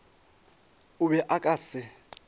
o be a ka se